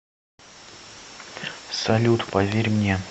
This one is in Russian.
салют поверь мне